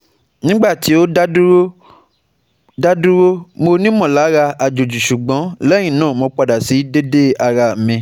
Mo ti ní àfikún ìwúwo pound eleven ní láàárn ìgbà ní láàárín ìgbà díẹ̀